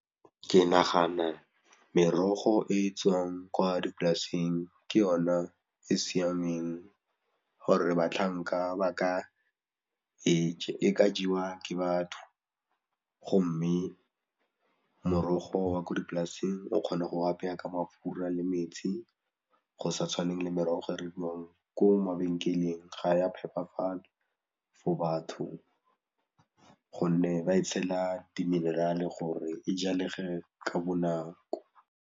Ke nagana merogo e e tswang kwa dipolaseng ke yona e siameng gore batlhanka e ka jewa ke batho, gomme morogo wa ko dipolaseng o kgona go apeya ka mafura le metsi go sa tshwaneng le merogo e rekiwang ko mabenkeleng ga ya phepafala for batho gonne ba e tshela di minerale gore e jalege ka bonako.